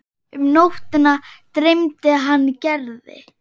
Um nóttina dreymdi hann Gerði.